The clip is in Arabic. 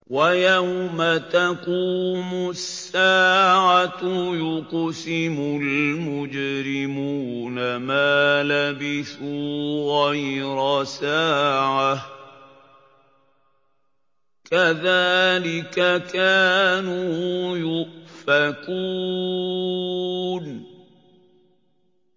وَيَوْمَ تَقُومُ السَّاعَةُ يُقْسِمُ الْمُجْرِمُونَ مَا لَبِثُوا غَيْرَ سَاعَةٍ ۚ كَذَٰلِكَ كَانُوا يُؤْفَكُونَ